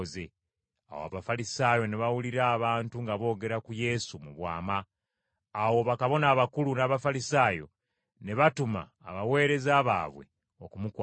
Awo Abafalisaayo ne bawulira abantu nga boogera ku Yesu mu bwama. Awo bakabona abakulu n’Abafalisaayo ne batuma abaweereza baabwe okumukwata.